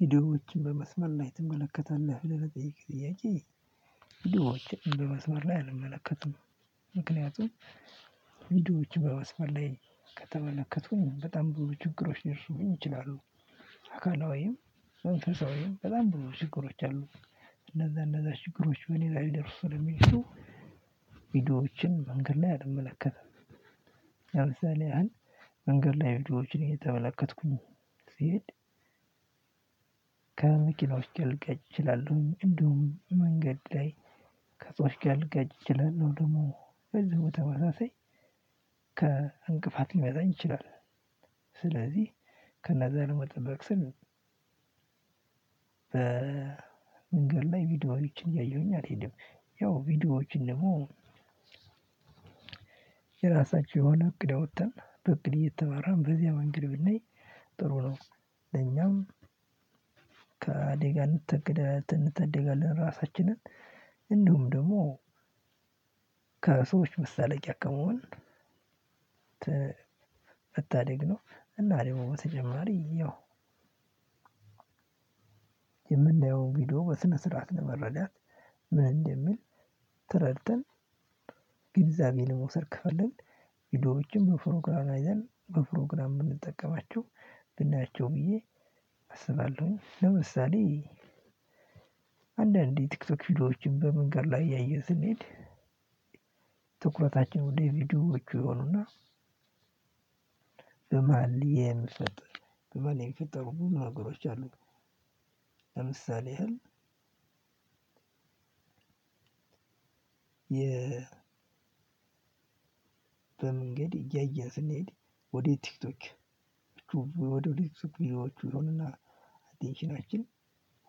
ቪዲዮዎችን በመስመር ላይ ትመለከታለህ ለመጠየቅ ጥያቄ? ቪዲዮዎችን በመስመር ላይ አልመለከትም። ምክንያቱም ቪዲዮዎች በመስመር ላይ ከተመለከቱኝ በጣም ብዙ ችግሮች ሊደርሱብኝ ይችላሉ። አካላዊም መንፈሳዊም በጣም ብዙ ችግሮች አሉ። እነዛ እነዛ ችግሮች በእኔ ላይ ሊደርሱ ስለሚችሉ ቪዲዮዎችን መንገድ ላይ አልመለከትም። አልመለከትም ለምሳሌ አን መንገድ ላይ ቪዲዮዎችን እየተመለከትኩኝ ሲሄድ ከመኪናው ጋልጋጭ እችላለሁኝ እንዲሁም መንገድ ላይ ከፅዋት ጋር ልጋጭ እችላለሁ። ደግሞ በዚህ በተመሳሳይ ከእንቅፋት ሊመታኝ ይችላል። ስለዚህ ከነዛ ለመጠበቅ ስል በመንገድ ላይ ቪዲዮዎችን እያየሁኝ አልሄድም። ያው ቪዲዮዎችን ደሞ የሆነ እቅድ አውጥተን በእቅድ እየተመራን በዚያ መንገድ ብናይ ጥሩ ነው። ለኛም ከአደጋ እንታደ እንታደጋለን ራሳችንን እንዲሁም ደግሞ ከሰዎች መሳለቂያ ከመሆን ት መታደግ ነው። እና ደግሞ በተጨማሪ ያው የምናየውን ቪዲዮ በስነ ስርዓት ለመረዳት ምን እንደሚል ተረድተን ግንዛቤ ለመውሰድ ከፈለግን ቪዲዎችን በፕሮግራም አይዘን በፕሮግራም ብንጠቀማችሁ ብናያቸው ብዬ አስባለሁኝ። ለምሳሌ አንዳንዴ ቲክቶክ ቪዲዮዎችን በምንገድ ላይ እያየን ስንሄድ ትኩረታችን ወደ ቪዲዮዎች ይሆኑና ቪዲዮዎችን በመስመር ላይ ትመለከታለህ? ለመጠየቅ ጥያቄ ቪዲዮዎችን በመስመር ላይ አልመለከቱም። ምክንያቱም ቪዲዮዎች በመስመር ላይ ከተመለከቱኝ በጣም ብሩ ችግሮች ሊርሱኝ ይችላሉ የ በመንገድ እያየን ስንሄድ ወደ ቲክቶክ ዎቹ ቪዲዎቹ ይሆንና አቴንሽናችን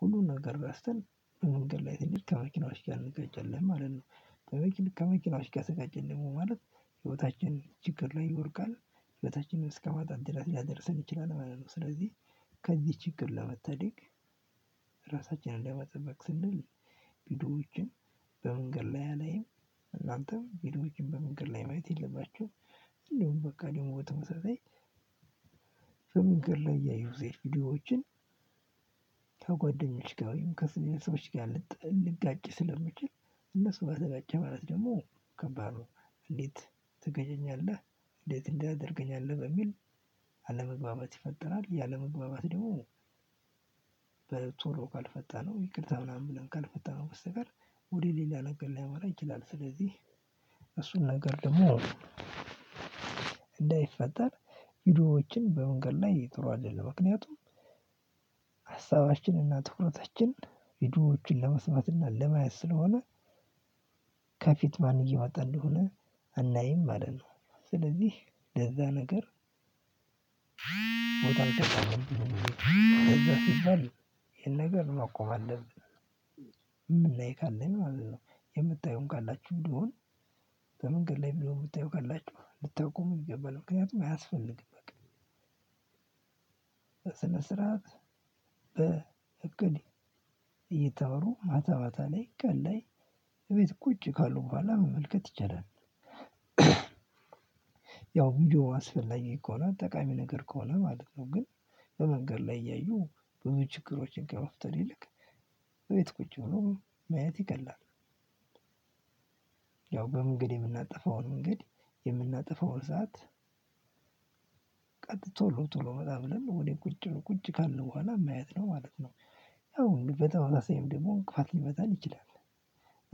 ሁሉን ነገር እረስተን በመንገድ ላይ ከመ ከመኪናዎች ጋር እንጋጫለን ማለት ነው። ከመ ከመኪናዎች ጋ ደግሞ ተጋጨን ማለት የ በመንገድ እያየን ስንሄድ ወደ ቲክቶክ ወደ ቲክቶክ ቪዲዮዎቹ ይሆናል አቴንሽናችን ሁሉን ነገር ቢያስተን በመንገድ ላይ ትንቢት ከመኪናዎች ጋር እንደጋጨልህ ማለት ነው። ጠበቂ ከመኪናው እሽጋ ሰቃጨልህ ደግሞ ማለት ቪዲዎችን በመንገድ ላይ አላይም። እናንተም ቪዲዎችን በመንገድ ላይ ማየት የለባችሁም። እንዲሁም በቃ ደግሞ በተመሳሳይ በመንገድ ላይ እያየሁ ስሄድ ቪዲዎችን ተጓደኞች ጋ ወይምከስሜን ሰዎች ጋር ልጥ ልጋጭ ስለምችል እነሱ ጋር ተጋጨህ ማለት ደግሞ ከባድ ነውእንዴት ትገጨኛለህ እንዴት እንዲህ ታደርገኛለህ በሚል አለመግባባት ይፈጠራል። ይህ አለመግባባት ደሞ በቶሎ ካልፈታነው ይቅርታ ምናምን ብለን ካልፈታነው በስተቀር ወደሌላ ነገር ሊያመራ ይችላል። ስለዚህ እሱን ነገር ደግሞ እንዳይፈጠር ቪዲዮዎችን በመንገድ ላይ ጥሩ አይደለም። ምክንያቱም አሳባችን እና ትኩረታችን ቪዲዮዎቹን ለመስማት ና ለማየት ስለሆነ ከፊት ማን እየመጣ እንደሆነ አናይም ማለት ነው። ስለዚህ ለዚያ ነገር ቦታ ንሰጥም ነገሩን አውቀዋለን የምናይ ካለን ማለት ነው የምታዩም ካላቹ እንዲሁ በምንገድ ላይ ቪዲዩ የምታዩ ካላችሁ ልታቆሙ ይገባል። ምክንያቱም አያስፈልግም በቃ። በስነስርዓት በእቅድ እየተመሩ ማታ ማታ ላይ ቀን ላይ እቤት ቁጭ ካሉ ቡሀላ ማየት ይቻላል። ያው ቪዲዮው አስፈላጊ ከሆነ ጠቃሚ ነገር ከሆነ ማለት ነው። ግን በመንገድ ላይ እያዩ ብዙ ችግሮችን ከመፍጠር ይልቅ እቤት ቁጭ ብሎ ማየት ይቀላል። ያው በመንገድ የምናጠፋውን መንገድ የምናጠፋውን ሰዓት ቀጥ ቶሎ ቶሎ መላ ብለን ወደ ቁጭ ቂጭ ካልን ቡሀላ ማየት ነው ማለት ነው። ያው እንግዲህ በተመሳሳይም ደግሞ እንቅፋት ሊመታን ይችላል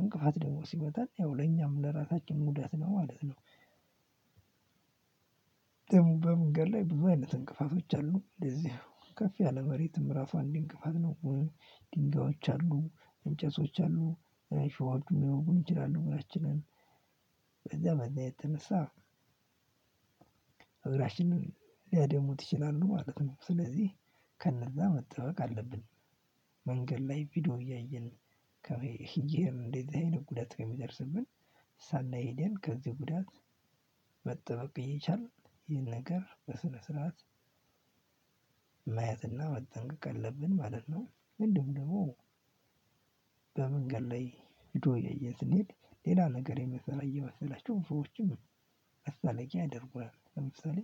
እንቅፋት ደግሞ ሲመታን ያው ለኛም ለራሳችን ጉዳት ነው ማለት ነው። በመንገድ ላይ ብዙ አይነት እንቅፋቶች አሉ እንደዚህ ከፍ ያለ መሬትም ዕራሱ አንድ እንቅፋት ነው። ድንጋዮች አሉ እንጨቶች አሉ እሾሆቹም ሊያወጉን ይችላሉ። እንግራችንን በዛ በዛ የተነሳ እግራችንን ሊያደሙት ይችላሉ ማለት ነው። ስለዚህ ከነዛ መጠበቅ አለብን። መንገድ ላይ ቪዲዮ እያየን ከመሄ እየሄድን እንደዚህ አይነት ጉዳት ከሚደርስብን ሳናይሄደን ከዚህ ጉዳት መጠበቅ እየቻልን ይሄን ነገር በስነ ስርዓት ማየት እና መጠንቀቅ አለብን ማለት ነው። እንዲሁም ደግሞ በመንገድ ላይ ቪዲዮ እያየን ስንሄድ ሌላ ነገር የምንሰራ እየመሰላቸው ሰዎችም መሳለቂያ ያደርጉሃል። ለምሳሌ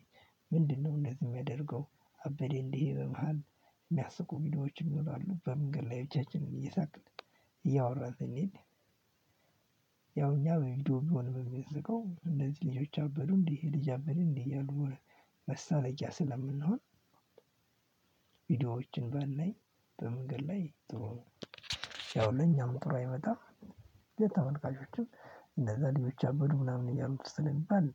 ምንድነው እነደህ የሚያደርገው? አበዴ እንዲህ በባህል የሚያስቁ ቪዲዮዎችን ይኖራሉ በመንገድ ላይ ብቻችንን እየሳቅን እያወራን ስንሄድ ያው እኛ በቪዲዮ ቢሆንም የምንስቀው እነዚህ ልጆች አበዱ እንዲህ ይሄ ልጅ አበደ እንዴ እያሉ መሳለቂያ ስለምንሆን። ቪዲዮዎችን ባናይ በመንገድ ላይ ጥሩ ነው። ያው ለኛም ጥሩ አይመጣም። ለተመልካቾችም እንነዛ ልጆች አበዱ ምናምን እያሉ ስለሚባል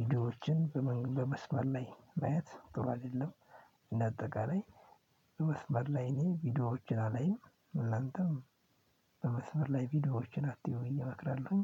ቪዲዮዎችን በመገ በመስመር ላይ ማየት ጥሩ አይደለም። እና አጠቃላይ በመስመር ላይ እኔ ቪዲዮዎችን አላይም እናንተም በመስመር ላይ ቪዲዮዎችን አትዩ ብዬ እመክራለሁኝ።